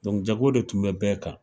jago de tun bɛ bɛɛ kan.